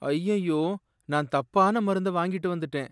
அய்யய்யோ, நான் தப்பான மருந்த வாங்கிட்டு வந்துட்டேன்!